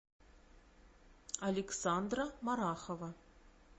александра марахова